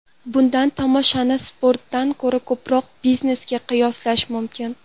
Bunday tomoshani sportdan ko‘ra ko‘proq biznesga qiyoslash mumkin.